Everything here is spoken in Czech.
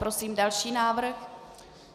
Prosím další návrh.